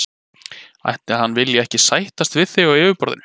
Ætli hann vilji ekki sættast við þig á yfirborðinu.